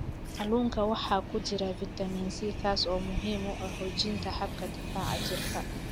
Kalluunka waxaa ku jira fitamiin C, kaas oo muhiim u ah xoojinta habka difaaca jirka.